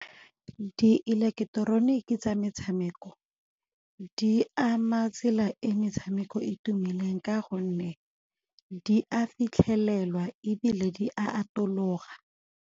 Di ileketeroniki tsa metshameko di ama tsela e metshameko e tumileng ka gonne di a fitlhelelwa ebile di a atologa.